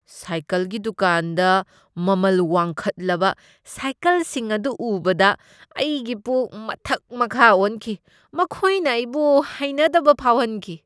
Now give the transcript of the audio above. ꯁꯥꯏꯀꯜꯒꯤ ꯗꯨꯀꯥꯟꯗ ꯃꯃꯜ ꯋꯥꯡꯈꯠꯂꯕ ꯁꯥꯏꯀꯜꯁꯤꯡ ꯑꯗꯨ ꯎꯕꯗ ꯑꯩꯒꯤ ꯄꯨꯛ ꯃꯊꯛ ꯃꯈꯥ ꯑꯣꯟꯈꯤ꯫ ꯃꯈꯣꯏꯅ ꯑꯩꯕꯨ ꯍꯩꯅꯗꯕ ꯐꯥꯎꯍꯟꯈꯤ꯫